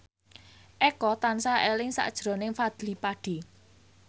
Eko tansah eling sakjroning Fadly Padi